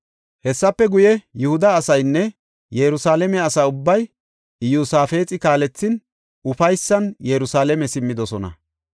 Hessafe guye, Yihuda asaynne Yerusalaame asa ubbay Iyosaafexi kaalethin, ufaysan Yerusalaame simmidosona.